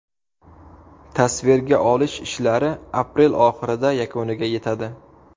Tasvirga olish ishlari aprel oxirida yakuniga yetadi.